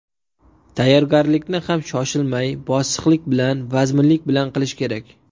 Tayyorgarlikni ham shoshilmay, bosiqlik bilan, vazminlik bilan qilish kerak.